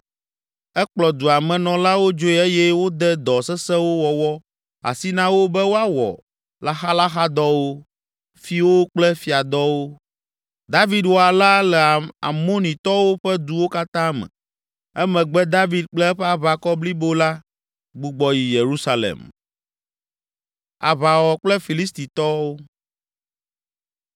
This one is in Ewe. Ekplɔ dua me nɔlawo dzoe eye wode dɔ sesẽwo wɔwɔ asi na wo be woawɔ laxalaxadɔwo, fiwo kple fiadɔwo. David wɔ alea le Amonitɔwo ƒe duwo katã me. Emegbe David kple eƒe aʋakɔ blibo la gbugbɔ yi Yerusalem.